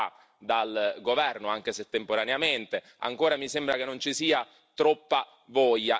Ci sono dei giornalisti che sono stati trattenuti qualche settimana fa dal governo, anche se temporaneamente.